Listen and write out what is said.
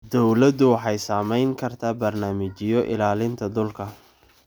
Dawladdu waxay samayn kartaa barnaamijyo ilaalinta dhulka.